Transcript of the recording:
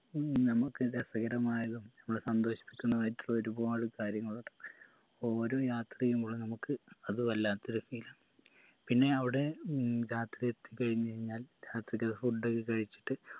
നമ്മക്ക് രസകരമായതും നമ്മളെ സന്തോഷിപ്പിക്കുന്നതായിട്ടുള്ള ഒരുപാട് കാര്യങ്ങൾ ഓരോ യാത്രയും ഉള്ള നമുക്ക് അത് വല്ലാത്തൊരു feel ആ പിന്നെ അവിടെ ഉം രാത്രി എത്തി കഴിഞ്ഞഴിഞ്ഞാൽ രാത്രിക്കെ food ഒക്കെ കഴിച്ചിട്ട്